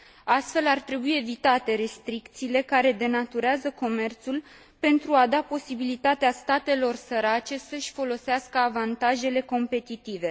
Astfel, ar trebui evitate restricțiile care denaturează comerțul pentru a da posibilitatea statelor sărace să și folosească avantajele competitive.